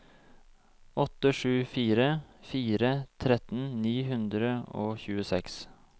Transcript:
åtte sju fire fire tretten ni hundre og tjueseks